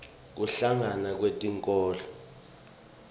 kuhlangana kwetinkholo